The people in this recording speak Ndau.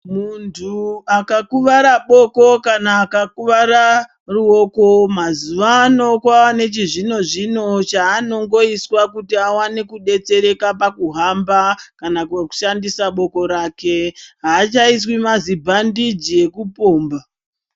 Muntu akakuwara boko kana akakuwara ruoko mazuvano kwawane chizvino zvino chaanongoiswa kuti awane kudetsereka pakuhamba kana kwekushandisa boko rake .Haachaiswi mazibhandeji ekupomba.